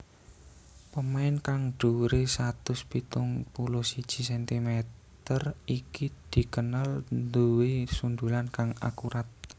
Pemain kang dhuwuré satus pitung puluh siji centimeter iki dikenal nduwé sundulan kang akurat